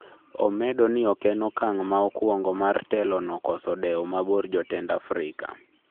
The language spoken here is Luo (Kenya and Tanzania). Omedo ni oken okang' ma okuongo mar telo no koso dewo mabor jotend Afrika